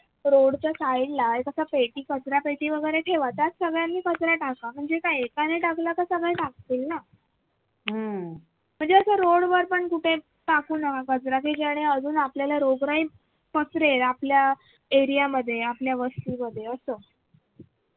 टाकू नका कचरा कि ज्याने रोगराई पसरेल. आपल्या area मध्ये आपल्या वस्तू मध्ये